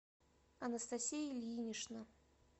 анастасия ильинична